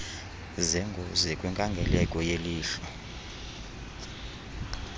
zengozi kwinkangeleko yelihlo